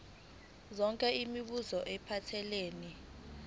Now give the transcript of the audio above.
yonke imibuzo ephathelene